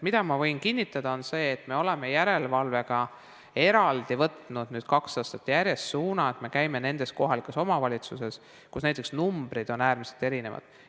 Ma võin kinnitada, et me oleme järelevalves võtnud nüüd kaks aastat järjest suuna, et me käime nendes kohalikes omavalitsustes, kus näiteks numbrid on äärmiselt erinevad.